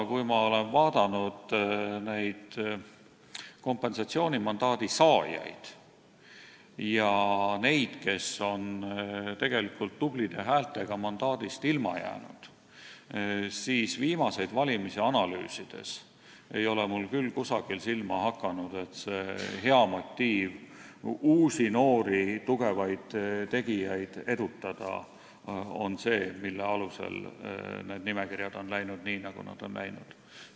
Kui ma olen aga vaadanud kompensatsioonimandaadi saajaid ja neid, kes on tubli häältesaagiga mandaadist ilma jäänud, siis viimaseid valimisi analüüsides ei ole mulle küll silma hakanud, et see hea motiiv uusi, noori, tugevaid tegijaid edutada oleks olnud nimekirjade koostamise aluseks, nende nimekirjadega on läinud nii, nagu on läinud.